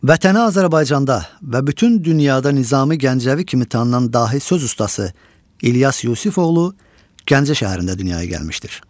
Vətəni Azərbaycanda və bütün dünyada Nizami Gəncəvi kimi tanınan dahi söz ustası İlyas Yusifoğlu Gəncə şəhərində dünyaya gəlmişdir.